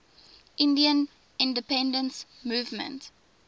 indian independence movement